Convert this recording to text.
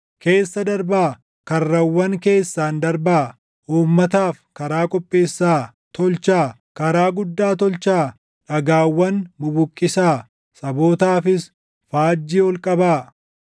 Keessa darbaa; karrawwan keessaan darbaa! Uummataaf karaa qopheessaa. Tolchaa; karaa guddaa tolchaa! Dhagaawwan bubuqqisaa. Sabootaafis faajjii ol qabaa.